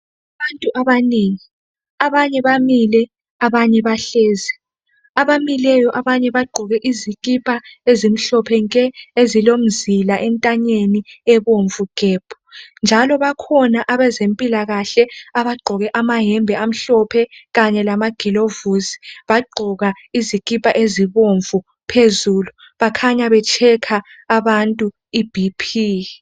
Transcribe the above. Abantu abanengi abanye bamile abanye bahlezi. Abamileyo abanye bagqoke izikipa ezimhlophe nke ezilomzila entanyeni ebomvu gebhu njalo bakhona abezempilakahle abagqoke abagqoke amayembe amhlophe kanye lamagilovisi bagqoka izikipa ezibomvu phezulu bakhanya behlola abantu iBP.